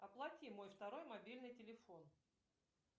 оплати мой второй мобильный телефон